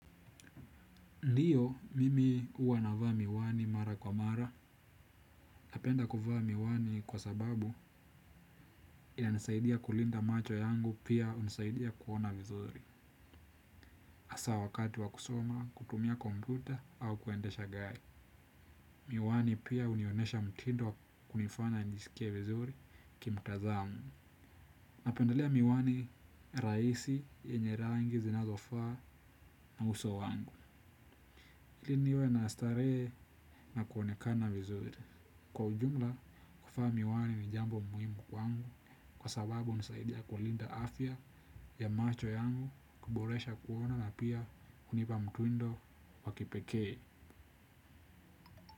Ndiyo, mimi uwa navaa miwani mara kwa mara, napenda kuvaa miwani kwa sababu inanisaidia kulinda macho yangu pia unisaidia kuona vizuri. Asa wakati wa kusoma, kutumia komputa au kuendesha gari. Miwani pia unionesha mtindo wa kunifana njisikie vizuri kimtazamo. Napendalea miwani raisi yenye rangi zinazofaa na uso wangu. Hili niwe na starehe na kuonekana vizuri. Kwa ujumla, kuvaa miwani ni jambo muhimu kwangu kwa sababu hunisaidia kulinda afya ya macho yangu kuboresha kuona na pia unipa mtindo wa kipekee.